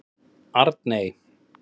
Arney